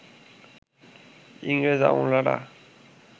ইংরেজ আমলারা